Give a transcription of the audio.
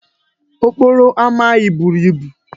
Okporo ama anyị buru ibu.